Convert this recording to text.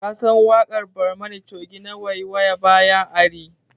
Ka san waƙar barmani coge na 'waiwaya baya ari'?